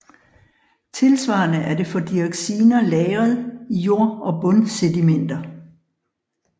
Tilsvarende er det for dioxiner lagret i jord eller bundsedimenter